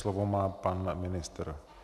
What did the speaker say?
Slovo má pan ministr.